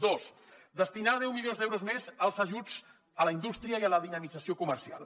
dos destinar deu milions d’euros més als ajuts a la indústria i a la dinamització comercial